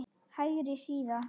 Hægri síða